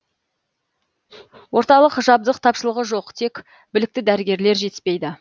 орталықта жабдық тапшылығы жоқ тек білікті дәрігерлер жетіспейді